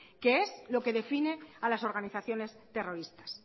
que es lo que define a las organizaciones terroristas